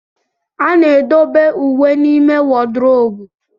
A na-edobe uwe n'ime wodrobu.